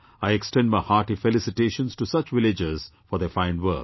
I extend my hearty felicitations to such villagers for their fine work